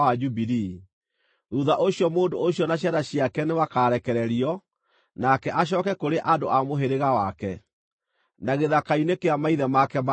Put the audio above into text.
Thuutha ũcio mũndũ ũcio na ciana ciake nĩmakarekererio, nake acooke kũrĩ andũ a mũhĩrĩga wake, na gĩthaka-inĩ kĩa maithe make ma tene.